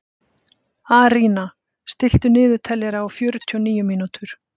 Arína, stilltu niðurteljara á fjörutíu og níu mínútur.